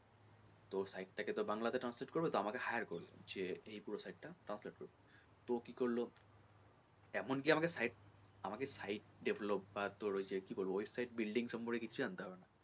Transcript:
তো ওই site টা কে তো বাংলা তে translation করবে তো আমাকে hire করলো যে এই পুরো site টা translate করতে হবে তো কী করলো এমন কি আমাকে site আমাকে site develop বা ওই কী বলবো website building সম্পর্কে কিছু জানতে লাগবে না।